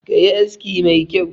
Ka yi aski mai kyau!